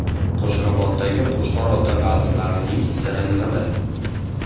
Qo‘shrabotdagi Qo‘chqor ota baliqlarining siri nimada?.